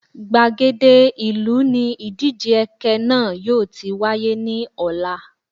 Gbàgede ìlú ni ìdíje ẹkẹ náà yóò ti wáyé ní ọ̀la